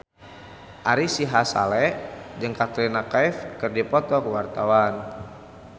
Ari Sihasale jeung Katrina Kaif keur dipoto ku wartawan